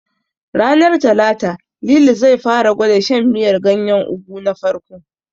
Ranar Talata, Lili zai fara gwada shan miyar ganyen Ugu na farko.